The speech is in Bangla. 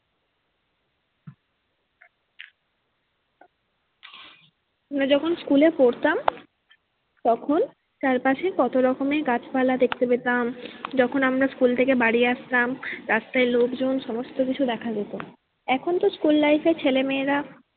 আমরা যখন school এ পড়তাম তখন চারপাশে কত রকমের গেছে পালা দেখতে পেতাম যখন আমরা school থেকে বাড়ি আসতাম রাস্তায় লোকজন সমস্ত কিছু দেখা যেত। এখন তো school life এর ছেলে মেয়েরা